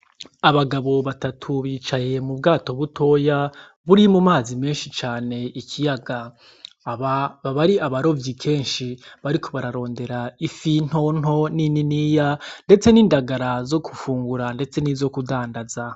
Abagabo batatu bicaye mu bwato butoya buri mu mazi menshi cane ikiyaga, baba ari abarovyi kenshi bariko bararondera ifi nto nto n'ininiya ndetse n'indagara zo gufungura ndetse nizo kudandaza.